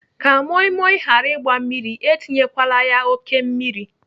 Ka moi moi ghara ịgba mmiri, etinyekwala ya oké mmiri.